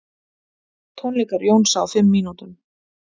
Tónleikar Jónsa á fimm mínútum